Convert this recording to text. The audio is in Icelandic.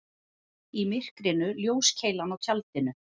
Í myrkrinu ljóskeilan á tjaldinu.